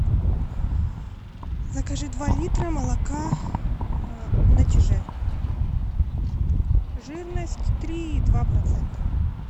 закажи два литра молока на чиже жирность три и два процента